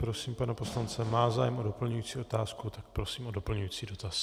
Prosím, pan poslanec má zájem o doplňující otázku, tak prosím o doplňující dotaz.